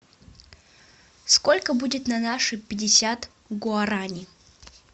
сколько будет на наши пятьдесят гуарани